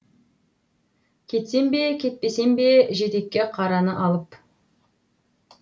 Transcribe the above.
кетсем бе кетпесем бе жетекке қараны алып